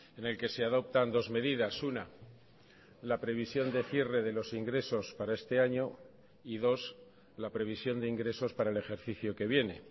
en el que se adoptan dos medidas una la previsión de cierre de los ingresos para este año y dos la previsión de ingresos para el ejercicio que viene